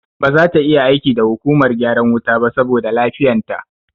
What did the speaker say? Ba zata iya aiki da hukumar gyaran wuta ba saboda lafiyan ta